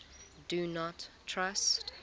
do not trust